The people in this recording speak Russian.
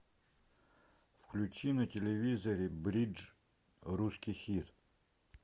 включи на телевизоре бридж русский хит